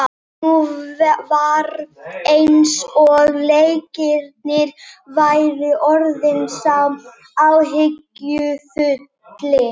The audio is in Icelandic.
Nú var eins og Leiknir væri orðinn sá áhyggjufulli.